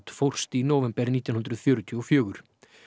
fórst í nóvember nítján hundruð fjörutíu og fjögur